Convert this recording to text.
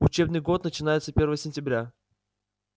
учебный год начинается первого сентября